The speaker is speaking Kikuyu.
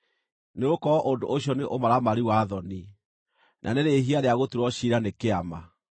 Nĩgũkorwo ũndũ ũcio nĩ ũmaramari wa thoni, na nĩ rĩĩhia rĩa gũtuĩrwo ciira nĩ kĩama.